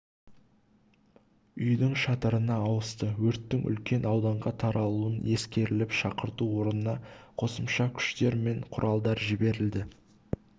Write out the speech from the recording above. үйдің шатырына ауысты өрттің үлкен ауданға таралуын ескеріліп шақырту орнына қосымша күштер мен құралдар жіберілді